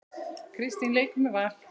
Kristín leikur með Val.